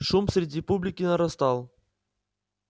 шум среди публики нарастал